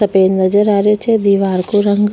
अठ पेड़ नजर आ रहे छे दिवार को रंग --